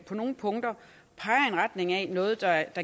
på nogen punkter peger i retning af noget der